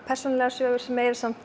persónulegar sögur sem